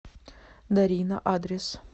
дарина адрес